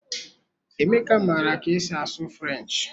Emeka maara ka esi asụ French.